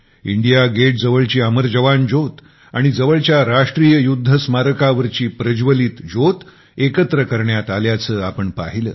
India Gate जवळची अमर जवान ज्योत आणि जवळच्या राष्ट्रीय युद्ध स्मारकावरची प्रज्वलित ज्योत एकत्र करण्यात आल्याचे आपण पाहिले